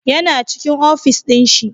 Yana cikin ofis ɗin shi